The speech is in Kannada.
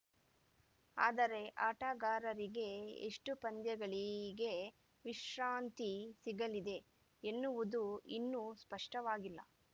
ಆದರೆ ಆಟಗಾರರಿಗೆ ಎಷ್ಟುಪಂದ್ಯಗಳಿಗೆ ವಿಶ್ರಾಂತಿ ಸಿಗಲಿದೆ ಎನ್ನುವುದು ಇನ್ನೂ ಸ್ಪಷ್ಟವಾಗಿಲ್ಲ